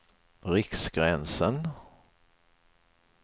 Riksgränsen